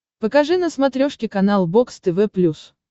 покажи на смотрешке канал бокс тв плюс